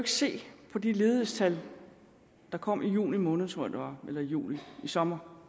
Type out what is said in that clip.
se på det ledighedstal som kom i juni måned tror jeg det var eller i juli i sommer